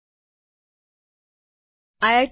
જોડાવા બદ્દલ આભાર